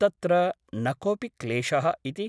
तत्र न कोऽपि क्लेशः इति ।